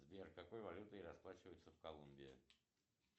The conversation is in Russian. сбер какой валютой расплачиваются в колумбии